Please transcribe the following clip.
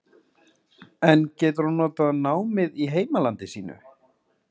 En getur hún notað námið í heimalandi sínu?